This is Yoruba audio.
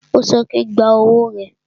Ó sọ pé, gba owó rẹ